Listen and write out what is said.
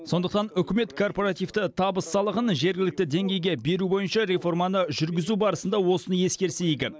сондықтан үкімет корпоративті табыс салығын жергілікті деңгейге беру бойынша реформаны жүргізу барысында осыны ескерсе игі